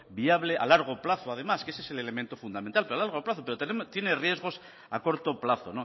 viable a largo plazo además que ese es el elemento fundamental pero a largo plazo pero también tiene riesgos a corto plazo